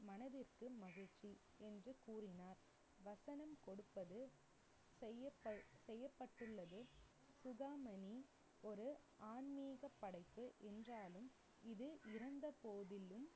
மனதிற்கு மகிழ்ச்சி என்று கூறினார். வசனம் கொடுப்பது செய்யப்ப~ செய்யப்பட்டுள்ளது சுகமணி ஒரு ஆன்மீக படைப்பு என்றாலும் இது இறந்த போதிலும்